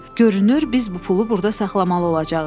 Görünür, biz bu pulu burda saxlamalı olacağıq.